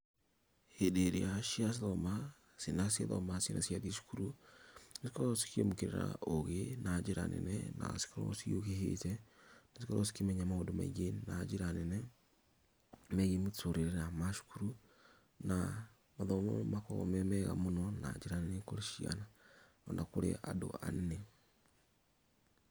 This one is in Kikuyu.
Hĩndĩ ĩrĩa ciathoma, ciana ciathoma, ciana ciathiĩ cukuru, cikoragwo cikĩamũkĩra ũũgĩ na njĩra nene na cigakorwo ciũhĩgĩte, cigakorwo cikĩmenya maũndũ maingĩ na njĩra nene megiĩ mũtũrĩre na macukuru na mathomo nĩ makoragwo me mega mũno na njĩra nene kũrĩ ciana ona kũrĩ andũ anene.